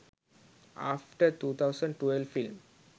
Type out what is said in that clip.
after 2012 film